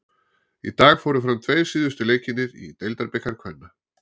Í dag fóru fram tveir síðustu leikirnir í Deildabikar kvenna.